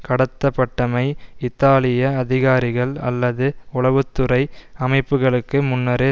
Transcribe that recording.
கடத்தப்பட்டமை இத்தாலிய அதிகாரிகள் அல்லது உளவு துறை அமைப்புக்களுக்கு முன்னரே